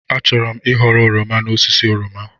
Achọrọ m ịghọrọ oroma n'osisi oroma.